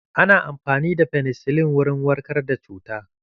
Ana amfani da Fenesilin wurin warkar da cuta.